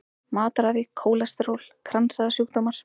Matarræði, kólesteról, kransæðasjúkdómar.